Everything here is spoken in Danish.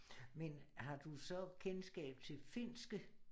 Men har du så kendskab til finske